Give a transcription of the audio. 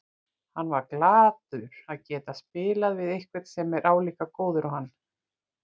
Hann var glaður að geta spilað við einhvern sem er álíka góður og hann.